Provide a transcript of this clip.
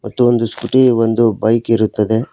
ಮತ್ತು ಒಂದು ಸ್ಕೂಟಿ ಒಂದು ಬೈಕ್ ಇರುತ್ತದೆ.